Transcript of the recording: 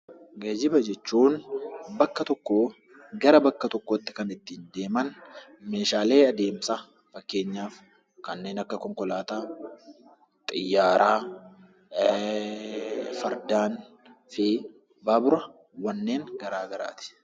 Geejiba jechuun bakka tokkoo gara bakka tokkotti kan ittiin deeman meeshaalee adeemsa fakkeenyaaf kanneen akka konkolaataa, xiyyaara, fardaan fi baabura garaagaraati.